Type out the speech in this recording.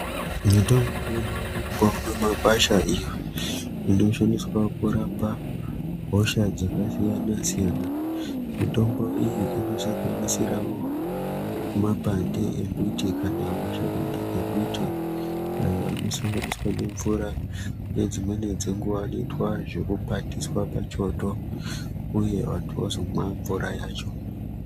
Mitombo inowanikwawo mumakwasha iyo inoshandiswa kurapa hosha dzakasiyana siyana. Mitombo iyi inosanganisirawo mapande emiti kana mashakani emiti ayo anosanganiswa nemvura nedzimweni dzenguwa anoitwa zvekukwatiswa pachoto uye vantu vozomwa mvura yacho.